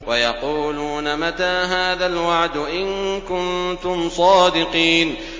وَيَقُولُونَ مَتَىٰ هَٰذَا الْوَعْدُ إِن كُنتُمْ صَادِقِينَ